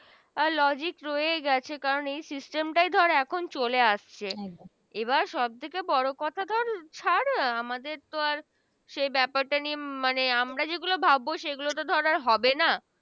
আ Logic রয়ে গেছে কারন এই System টাই ধর এখন চলে আসছে এবার সব থেকে বড় কথা ধর ছাড় আমাদের তো আর সে ব্যপারটা মানে আমরা যে গুলো ভাবো সেগুলা ধর আর হবে না